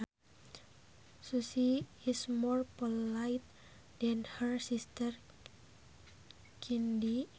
Susie is more polite than her sister Cindy